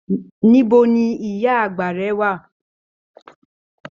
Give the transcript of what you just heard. Níbo ní ìyá àgbà rẹ wà?